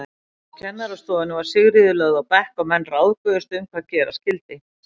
Á kennarastofunni var Sigríður lögð á bekk og menn ráðguðust um hvað gera skyldi.